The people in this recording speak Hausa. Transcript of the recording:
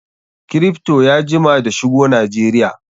Kripto ya jima da shigo Najeriya.